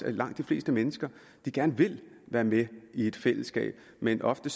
langt de fleste mennesker gerne vil være med i et fællesskab men ofte